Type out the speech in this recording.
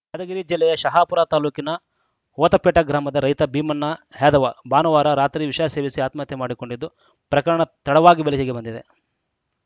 ಯಾದಗಿರಿ ಜಿಲ್ಲೆಯ ಶಹಾಪುರ ತಾಲೂಕಿನ ಹೊತಪೇಟ ಗ್ರಾಮದ ರೈತ ಭೀಮಣ್ಣ ಯಾದವ ಭಾನುವಾರಾ ರಾತ್ರಿ ವಿಷ ಸೇವಿಸಿ ಆತ್ಮಹತ್ಯೆ ಮಾಡಿಕೊಂಡಿದ್ದು ಪ್ರಕರಣ ತಡವಾಗಿ ಬೆಳಕಿಗೆ ಬಂದಿದೆ